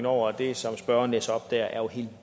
over det som spørgeren læser op det er jo helt